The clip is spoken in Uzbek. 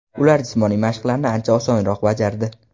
Ular jismoniy mashqlarni ancha osonroq bajardi.